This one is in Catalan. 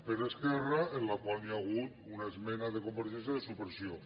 per esquerra en la qual hi ha hagut una esmena de convergència de supressió